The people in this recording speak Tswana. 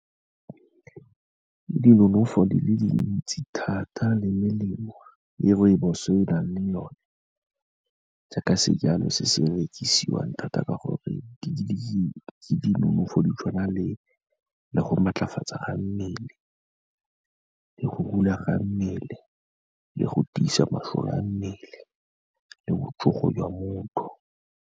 Ke dinonofo di le dintsi thata le melemo e rooibos-o e nang le one, jaaka sejalo se se rekisiwang thata ka gore ke dinonofo di tshwana le go maatlafatsa ga mmele, le go rula ga mmele, le go tiisa masole a mmele, le botšogo jwa motho.